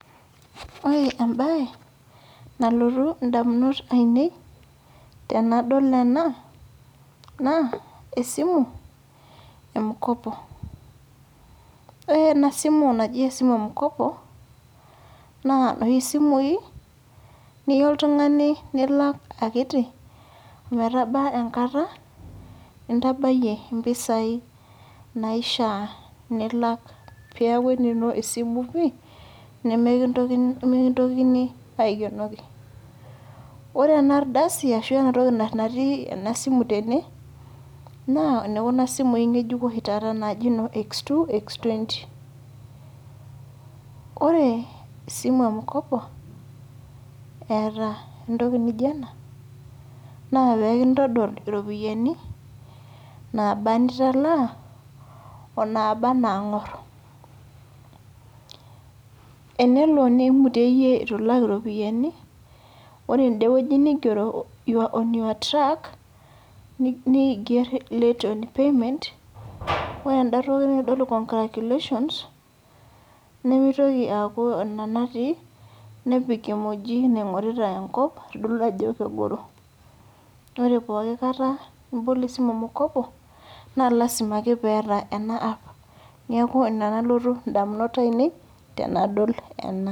Ore ebae, nalotu indamunot ainei, tenadol ena, naa esimu e mkopo .Ore enasimu naji esimu e mkopo, naa noshi simui, niya oltung'ani nilak akiti, ometaba enkata, nintabayie impisai naishaa nilak peku enino esimu pi, nemekintokini aikenoki. Ore enardasi ashu enatoki natii enasimu tene, naa enekuna simui ng'ejuko oshi taata naji no X2, X20. Ore esimu e mkopo, eeta entoki nijo ena, na pekintodol iropiyiani naba nitalaa, onaba nang'or. Enelo nimuteyie itu ilak iropiyiani, ore ende wueji nigero you're on your track, niger late on payment, ore enda toki naitodolu congratulations ,nimitoki aaku ina natii, nepik emoji naing'orita enkop, aitodolu ajo kegoro. Ore pooki kata nibol esimu e mkopo, na lasima ake peeta ena app. Neeku ina nalotu indamunot ainei, tenadol ena.